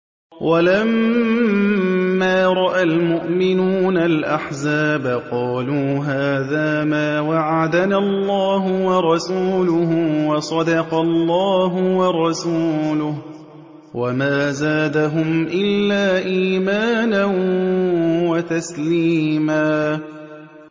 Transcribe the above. وَلَمَّا رَأَى الْمُؤْمِنُونَ الْأَحْزَابَ قَالُوا هَٰذَا مَا وَعَدَنَا اللَّهُ وَرَسُولُهُ وَصَدَقَ اللَّهُ وَرَسُولُهُ ۚ وَمَا زَادَهُمْ إِلَّا إِيمَانًا وَتَسْلِيمًا